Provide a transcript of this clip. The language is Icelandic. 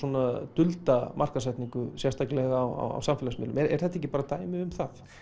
dulda markaðssetningu sérstaklega á samfélagsmiðlum er þetta ekki bara dæmi um það